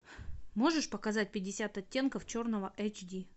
можешь показать пятьдесят оттенков черного эйч ди